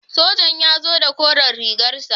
Sojan ya zo da koren rigar sa.